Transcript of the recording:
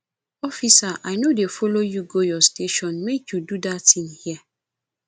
officer i no dey follow you go your station make you do dat thing here